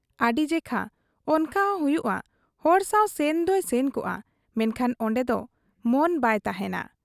ᱟᱹᱰᱤ ᱡᱮᱠᱷᱟ ᱚᱱᱠᱟᱦᱚᱸ ᱦᱩᱭᱩᱜ ᱟ; ᱦᱚᱲ ᱥᱟᱶ ᱥᱮᱱᱫᱚᱭ ᱥᱮᱱ ᱠᱚᱜ ᱟ, ᱢᱮᱱᱠᱷᱟᱱ ᱚᱱᱰᱮᱫᱚ ᱢᱚᱱ ᱵᱟᱭ ᱛᱟᱦᱮᱸᱱᱟ ᱾